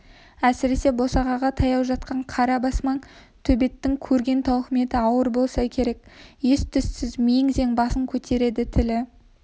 әсіресе босағаға таяу жатқан қара бас маң төбеттің көрген тауқыметі ауыр болса керек ес-түссіз мең-зең басын көтереді тілі